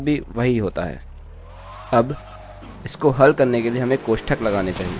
अब इसको हल करने के लिए हमें कोष्ठक लगाने चाहिए